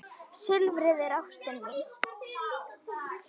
Silfrið er ástin mín.